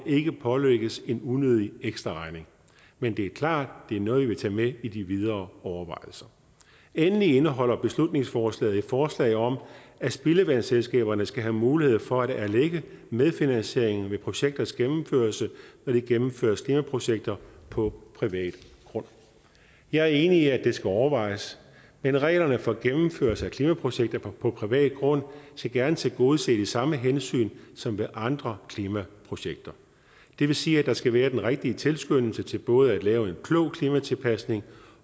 ikke pålægges en unødig ekstraregning men det er klart at det er noget jeg vil tage med i de videre overvejelser endelig indeholder beslutningsforslaget et forslag om at spildevandsselskaberne skal have mulighed for at erlægge medfinansieringen ved projekters gennemførelse når der gennemføres klimaprojekter på privat grund jeg er enig i at det skal overvejes men reglerne for gennemførelse af klimaprojekter på privat grund skal gerne tilgodese de samme hensyn som ved andre klimaprojekter det vil sige at der skal være den rigtige tilskyndelse til både at lave en klog klimatilpasning